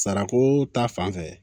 Sarako ta fanfɛ